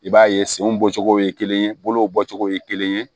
I b'a ye senw bɔcogo ye kelen ye bolow bɔcogo ye kelen ye